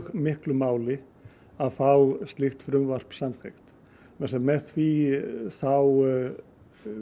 miklu máli að fá slíkt frumvarp samþykkt því með því þá